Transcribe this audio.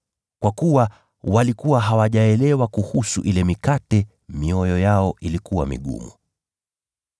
kwa kuwa walikuwa hawajaelewa kuhusu ile mikate. Mioyo yao ilikuwa migumu.